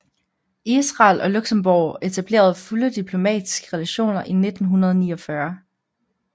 Israel og Luxembourg etablerede fulde diplomatiske relationer i 1949